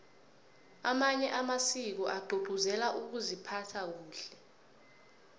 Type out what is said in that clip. amanye amasiko agcugcuzela ukuziphatha kahle